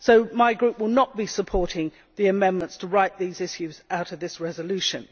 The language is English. So my group will not be supporting the amendments to write these issues out of this resolution.